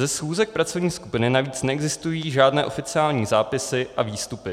Ze schůze pracovní skupiny navíc neexistují žádné oficiální zápisy a výstupy.